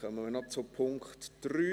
Dann kommen wir noch zu Punkt 3.